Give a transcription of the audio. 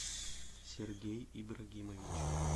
сергей ибрагимович